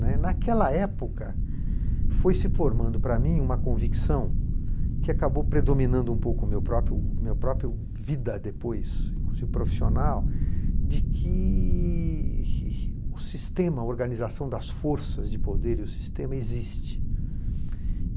Né. Naquela época, foi se formando para mim uma convicção, que acabou predominando um pouco meu próprio meu próprio vida depois, inclusive profissional, de que o sistema, a organização das forças de poder, o sistema existe.